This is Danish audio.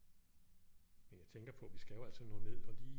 Men jeg tænker på vi skal jo altså nå ned og lige